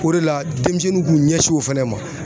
O de la denmisɛnninw k'u ɲɛsin o fɛnɛ ma.